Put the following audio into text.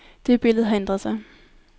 Det billede har ændret sig.